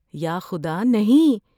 یا خدا، نہیں!